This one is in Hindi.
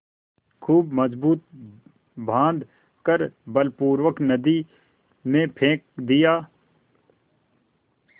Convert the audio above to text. खूब मजबूत बॉँध कर बलपूर्वक नदी में फेंक दिया